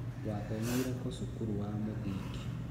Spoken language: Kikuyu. Wathomeire kũ cukuru wa mũthingi?